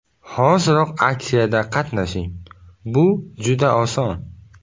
Hoziroq aksiyada qatnashing: Bu juda oson!